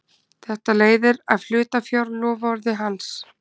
Þetta leiðir af hlutafjárloforði hans.